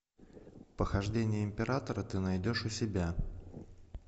похождения императора ты найдешь у себя